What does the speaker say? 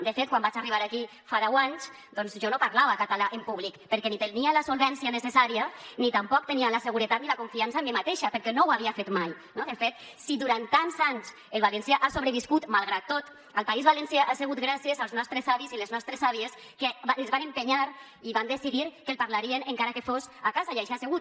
de fet quan vaig arribar aquí fa deu anys doncs jo no parlava català en públic perquè ni tenia la solvència necessària ni tampoc tenia la seguretat ni la confiança en mi mateixa perquè no ho havia fet mai no de fet si durant tants anys el valencià ha sobreviscut malgrat tot al país valencià ha sigut gràcies als nostres avis i les nostres àvies que es van entestar i van decidir que el parlarien encara que fos a casa i així ha sigut